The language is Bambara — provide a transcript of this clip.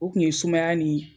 O kun ye sumaya nin.